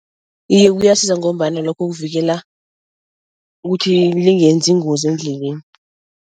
Iye, kuyasiza ngombana lokho kuvikela ukuthi lingenzi ingozi endleleni.